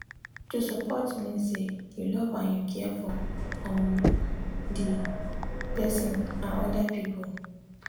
to support mean say you love and you care for um the person and other people.